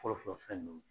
Fɔlɔfɔlɔ fɛn ninnu